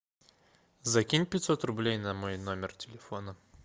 закинь пятьсот рублей на мой номер телефона